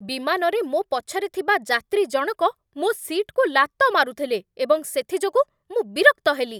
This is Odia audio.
ବିମାନରେ ମୋ ପଛରେ ଥିବା ଯାତ୍ରୀ ଜଣକ ମୋ ସିଟ୍‌କୁ ଲାତ ମାରୁଥିଲେ ଏବଂ ସେଥିଯୋଗୁଁ ମୁଁ ବିରକ୍ତ ହେଲି।